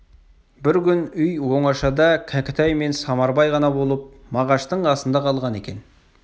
бір күн үй оңашада кәкітай мен самарбай ғана болып мағаштың қасында қалған екен